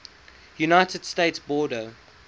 united states border